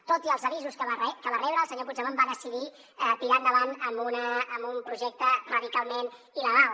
tot i els avisos que va rebre el senyor puigdemont va decidir tirar endavant amb un projecte radicalment il·legal